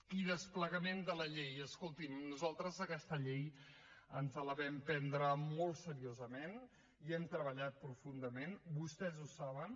i desplegament de la llei escolti’m nosaltres aquesta llei ens la vam prendre molt seriosament hi hem treballat profundament vostès ho saben